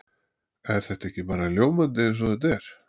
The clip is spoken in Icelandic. Er þetta ekki bara ljómandi eins og þetta er?